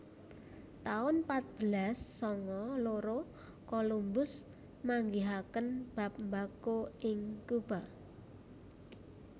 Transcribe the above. taun patbelas sanga loro Colombus manggihaken bab mbako ing Cuba